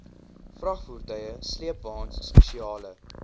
vragvoertuie sleepwaens spesiale